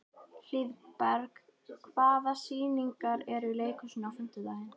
Hlíðberg, hvaða sýningar eru í leikhúsinu á fimmtudaginn?